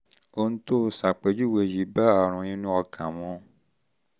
ohun tó o ṣàpèjúwe yìí bá àrùn inú ikùn mu